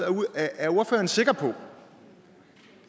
er ordføreren sikker på